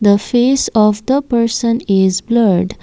the face of the person is blurred.